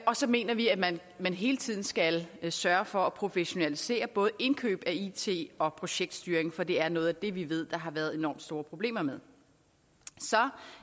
og så mener vi at man hele tiden skal sørge for at professionalisere både indkøb af it og projektstyring for det er noget af det vi ved der har været enormt store problemer med så